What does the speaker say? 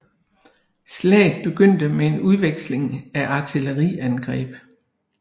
Slaget begyndte med en udveksling af artilleriangreb